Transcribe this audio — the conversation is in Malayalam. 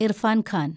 ഇർഫാൻ ഖാൻ